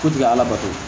K'u tɛ ala bato